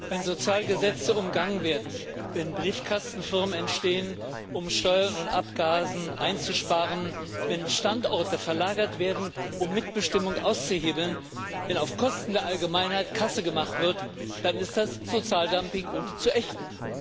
Wenn Sozialgesetze umgangen werden, wenn Briefkastenfirmen entstehen, um Steuern und Abgaben einzusparen, wenn Standorte verlagert werden, um Mitbestimmung auszuhebeln, wenn auf Kosten der Allgemeinheit Kasse gemacht wird, dann ist das Sozialdumping und zu ächten.